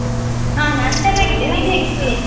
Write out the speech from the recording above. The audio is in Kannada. ಹಾ ಚೆನ್ನಾಗಿದ್ದೇನೆ ನೀನ್ ಹೇಗಿದ್ದಿ?